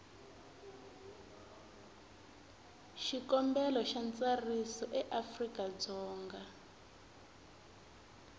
xikombelo xa ntsariso eafrika dzonga